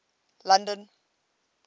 london